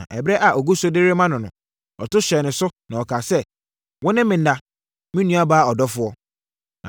Na ɛberɛ a ɔgu so de rema no no, ɔto hyɛɛ ne so, na ɔkaa sɛ, “Wo ne me nna, me nuabaa ɔdɔfoɔ.”